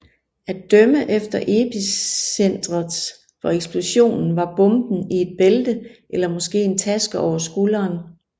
At dømme efter epicentret for eksplosionen var bomben i et bælte eller måske en taske over skulderen